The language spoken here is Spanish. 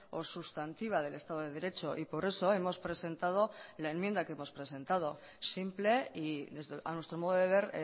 o sustantiva del estado de derecho y por eso hemos presentado la enmienda que hemos presentado simple y a nuestro modo de ver